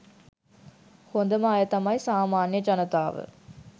හොඳම අය තමයි සාමාන්‍ය ජනතාව.